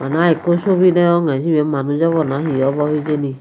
bana ekku sobi degongeh sibi manuj obo na he obo hejeni.